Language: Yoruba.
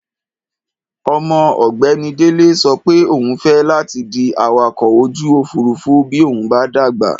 Ọmọ ọ̀gbẹ́ni Délé sọ pé òun fẹ́ láti di awakọ̀-ojú-òfuurufú bí òun bá dàgbà.